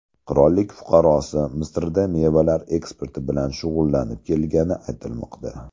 Qirollik fuqarosi Misrda mevalar eksporti bilan shug‘ullanib kelgani aytilmoqda.